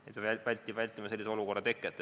Me peame vältima selle olukorra teket.